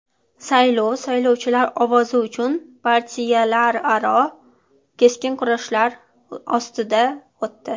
Saylov saylovchilar ovozi uchun partiyalararo keskin kurashlar ostida o‘tdi.